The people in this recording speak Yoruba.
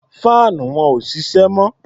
Faanu wọn ò ṣiṣẹ́ mọ́.